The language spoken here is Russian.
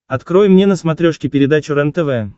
открой мне на смотрешке передачу рентв